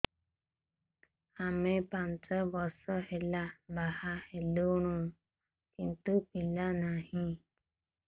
ଆମେ ପାଞ୍ଚ ବର୍ଷ ହେଲା ବାହା ହେଲୁଣି କିନ୍ତୁ ପିଲା ନାହିଁ